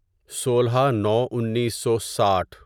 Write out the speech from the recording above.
سولہ نو انیسو ساٹھ